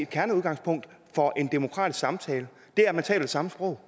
kerneudgangspunkt for en demokratisk samtale at man taler samme sprog